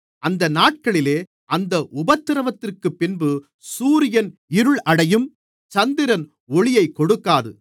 அந்த நாட்களிலே அந்த உபத்திரவத்திற்குப்பின்பு சூரியன் இருள் அடையும் சந்திரன் ஒளியைக் கொடுக்காது